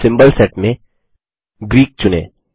symbol set में Greek चुनें